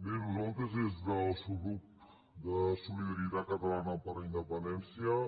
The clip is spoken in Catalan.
bé nosaltres des del subgrup de solidaritat catalana per la independència